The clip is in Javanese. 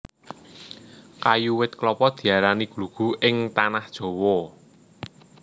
Kayu wit klapa diarani glugu ing Tanah Jawa